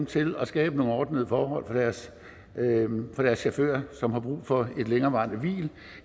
til at skabe nogle ordnede forhold for deres chauffører som har brug for et længerevarende hvil